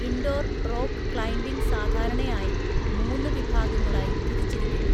Indoor rock climbing സാധാരണയായി മൂന്ന് വിഭാഗങ്ങളായി തിരിച്ചിരിക്കുന്നു.